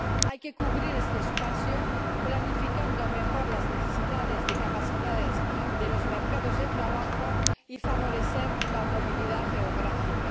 Hay que cubrir este espacio planificando mejor las necesidades de capacidades de los mercados de trabajo y favorecer la movilidad geográfica.